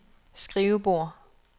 skrivebord